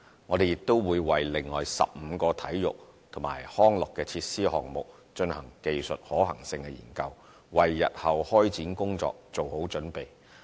我們亦會為另外15個體育及康樂設施項目進行技術可行性研究，為日後開展工作做好準備。